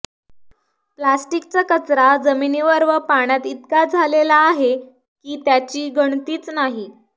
प्लॅस्टिकचा कचरा जमिनीवर व पाण्यात इतका झालेला आहे की त्याची गणतीच नाही